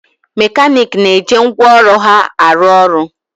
Mekaniiki na-eje ngwaọrụ ha arụ ọrụ